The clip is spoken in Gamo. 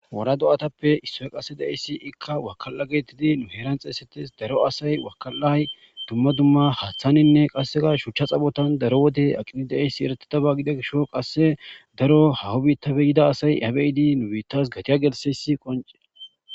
Wora do'atappe issoyi qase de'izayiss ikka wakala getettidi nuu heranni xeyisetidd daro asayi wakalayi dumma dumma haththaninne qase shucha xaaponni daro wode aqqid de'iyobbayi eretiba gida gishshawu qase daro haho bittappe yidayi asayi izza be'iddi nuu bitas kaciya geliththiyass qonccekko.